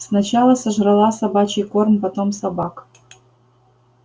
сначала сожрала собачий корм потом собак